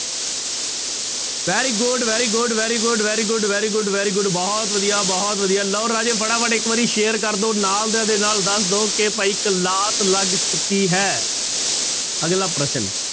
Very good, very good, very good, very good, very good, very good ਬਹੁਤ ਵਧੀਆ, ਬਹੁਤ ਵਧੀਆ ਲਓ ਰਾਜੇ ਫਟਾਫਟ ਇੱਕ ਵਾਰੀ share ਕਰ ਦਓ ਨਾਲ ਦਿਆਂ ਦੇ ਨਾਲ ਦੱਸ ਦਓ ਕਿ ਭਾਈ class ਲੱਗ ਚੁੱਕੀ ਹੈ ਅਗਲਾ ਪ੍ਰਸ਼ਨ,